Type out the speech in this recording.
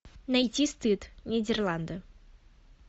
найти стыд нидерланды